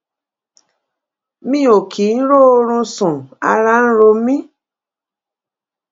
mi ò kì í róorun sún ara ń ro mí